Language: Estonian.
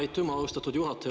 Aitüma, austatud juhataja!